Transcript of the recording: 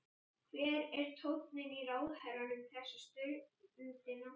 Hver er tónninn í ráðherranum þessa stundina?